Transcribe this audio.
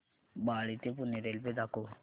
बाळे ते पुणे रेल्वे दाखव